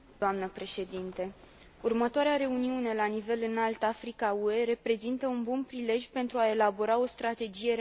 Următoarea reuniune la nivel înalt Africa UE reprezintă un bun prilej pentru a elabora o strategie realistă de cooperare.